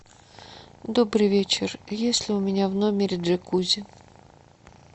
добрый вечер есть ли у меня в номере джакузи